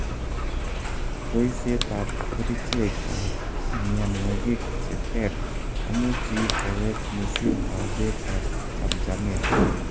boisyet ab kericheg ag mianwogig cheter komuchi kowech mising kauget ab chamjamet